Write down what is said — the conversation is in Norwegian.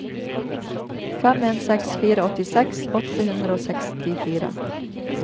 fem en seks fire åttiseks åtte hundre og sekstifire